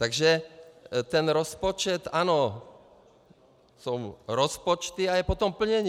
Takže ten rozpočet, ano, jsou rozpočty a je potom plnění.